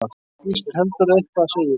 Víst heldurðu eitthvað, segir hún.